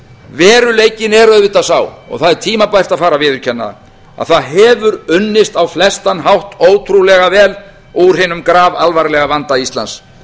veruleikinn er auðvitað sá og það er tímabært að fara að viðurkenna það að það hefur unnist á flestan hátt ótrúlega vel úr hinum grafalvarlega vanda íslands